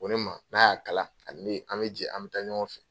Ko ne ma n'a y'a kala ani ne bɛ jɛ an bɛ taa ɲɔgɔn fɛ.